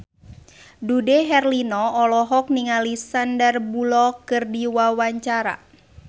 Dude Herlino olohok ningali Sandar Bullock keur diwawancara